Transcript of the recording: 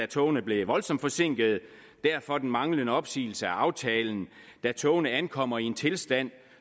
togene blev voldsomt forsinkede derfor den manglende opsigelse af aftalen da togene ankom i en tilstand